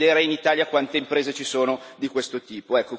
Voglio vedere in Italia quante imprese ci sono di questo tipo.